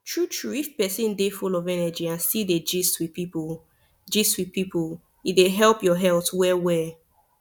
true true if person dey full of energy and still dey gist with people gist with people e dey help your health well well